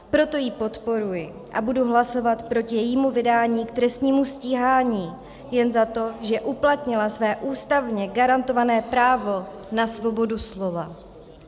Proto ji podporuji a budu hlasovat proti jejímu vydání k trestnímu stíhání jen za to, že uplatila své ústavně garantované právo na svobodu slova.